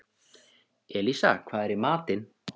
Elísa, hvað er í matinn?